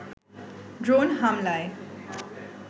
drone হামলায়